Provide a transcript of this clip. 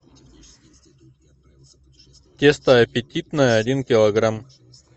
тесто аппетитное один килограмм